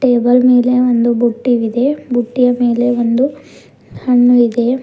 Table ಮೇಲೆ ಒಂದು ಬುಟ್ಟಿವಿದೆ ಮತ್ತು ಬುಟ್ಟಿಯ ಮೇಲೆ ಒಂದು ಹಣ್ಣು ಇದೆ.